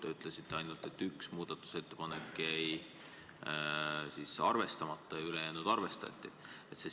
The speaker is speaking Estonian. Te ütlesite ainult, et üks muudatusettepanek jäi arvestamata ja ülejäänuid arvestati.